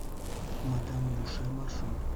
мадам буше маршрут